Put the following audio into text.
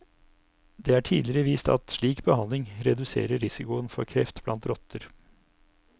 Det er tidligere vist at slik behandling reduserer risikoen for kreft blant rotter.